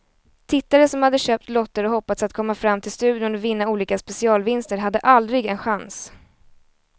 Tittare som hade köpt lotter och hoppats att komma fram till studion och vinna olika specialvinster hade aldrig en chans.